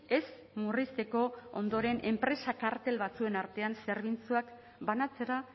ez murrizteko ondoren enpresa kartel batzuen artean zerbitzuak banatzera